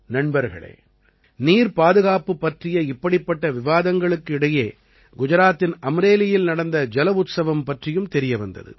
நண்பர்களே நீர் பாதுகாப்பு பற்றிய இப்படிப்பட்ட விவாதங்களுக்கு இடையே குஜராத்தின் அம்ரேலியில் நடந்த ஜல உத்சவம் பற்றியும் தெரிய வந்தது